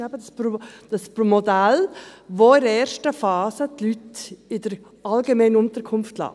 Das ist eben das Modell, dass in der ersten Phase die Leute in der allgemeinen Unterkunft lässt.